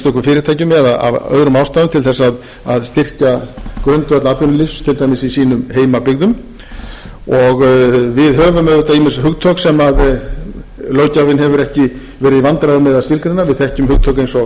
fyrirtækjum eða af öðrum ástæðum til þess að styrkja grundvöll atvinnulífs til dæmis í sínum heimabyggð og við höfum auðvitað ýmis hugtök sem löggjafinn hefur ekki verið í vandræðum með að skilgreina við þekkjum hugtök eins og